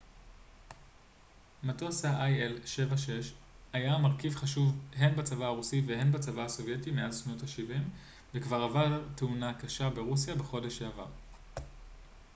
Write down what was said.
מטוס ה-il-76 היה מרכיב חשוב הן בצבא הרוסי וההן בצבא הסובייטי מאז שנות השבעים וכבר עבר תאונה קשה ברוסיה בחודש שעבר